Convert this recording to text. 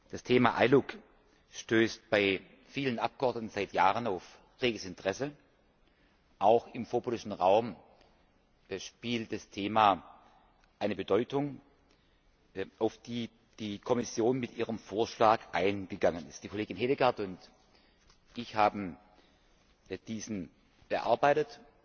Das Thema ILUC stößt bei vielen Abgeordneten seit Jahren auf reges Interesse, auch im vorpolitischen Raum erhielt das Thema eine Bedeutung, auf die die Kommission mit ihrem Vorschlag eingegangen ist. Frau Kollegin Hedegaard und ich haben diesen bearbeitet.